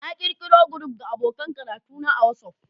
Na ƙirƙiro group ga abokan karatuna a WhatsApp